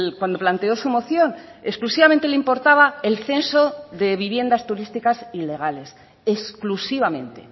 cuando planteó su moción exclusivamente le importaba el censo de viviendas turísticas ilegales exclusivamente